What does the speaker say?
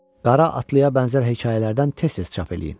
Qara atlıya bənzər hekayələrdən tez-tez çap eləyin.